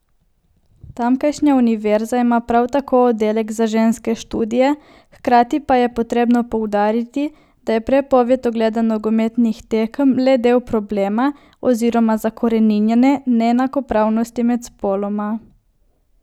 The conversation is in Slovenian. Tamkajšnja univerza ima prav tako oddelek za ženske študije, hkrati pa je potrebno poudariti, da je prepoved ogleda nogometnih tekem le del problema oziroma zakoreninjene neenakopravnosti med spoloma.